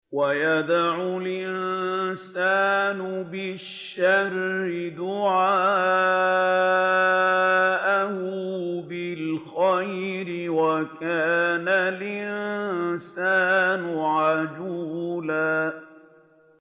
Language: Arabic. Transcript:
وَيَدْعُ الْإِنسَانُ بِالشَّرِّ دُعَاءَهُ بِالْخَيْرِ ۖ وَكَانَ الْإِنسَانُ عَجُولًا